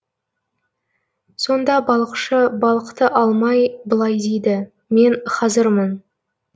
сонда балықшы балықты алмай былай дейді мен хазырмын